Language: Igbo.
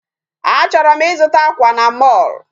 Achọrọ m ịzụta akwa na mall